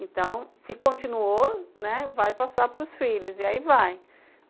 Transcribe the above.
Então, se continuou, né, vai passar para os filhos, e aí vai.